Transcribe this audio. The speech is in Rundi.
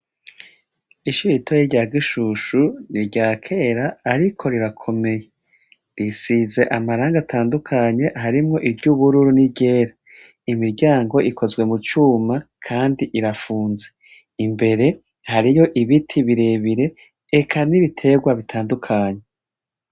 Ishure ritoya rya Gishishu nirya kera Ariko rirakomeye. Risize amarangi atandukanye, harimwiry’ubururu n’iryera. Imiryango ikozwe mucuma Kandi irafunze. Imbere hariyo ibiti birebire eka n’ibitegwa bitandukanye.